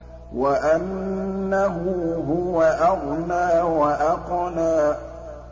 وَأَنَّهُ هُوَ أَغْنَىٰ وَأَقْنَىٰ